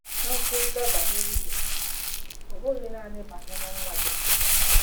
Na-ekwurịta banyere ibe gị, ọ bụghị nanị banyere nwa gị.